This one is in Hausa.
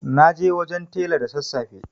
Na je wajen tela da sassafe.